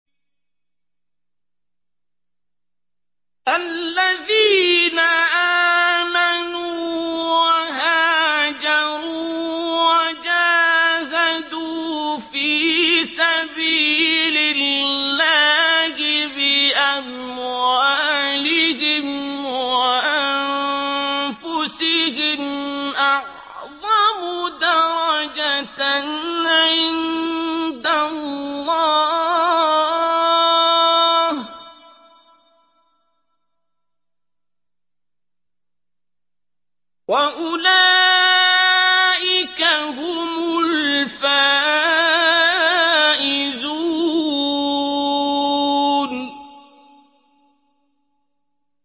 الَّذِينَ آمَنُوا وَهَاجَرُوا وَجَاهَدُوا فِي سَبِيلِ اللَّهِ بِأَمْوَالِهِمْ وَأَنفُسِهِمْ أَعْظَمُ دَرَجَةً عِندَ اللَّهِ ۚ وَأُولَٰئِكَ هُمُ الْفَائِزُونَ